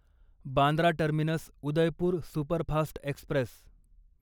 Bandra terminus Udaipur superfast Express